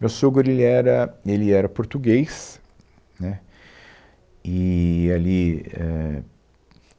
Meu sogro ela era, ele era português, né, e ali éh